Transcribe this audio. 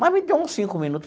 Mas me deu uns cinco minuto.